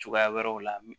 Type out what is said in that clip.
Cogoya wɛrɛw la